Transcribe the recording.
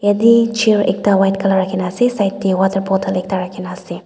ede chair ekta white color ekta rakhi na ase side de water bottle ekta rakhi na ase.